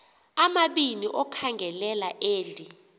amabini okhangelela eli